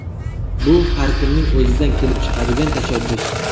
Bu har kimning o‘zidan kelib chiqadigan tashabbus.